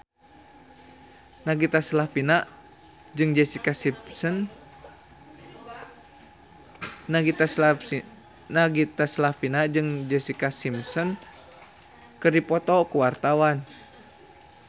Nagita Slavina jeung Jessica Simpson keur dipoto ku wartawan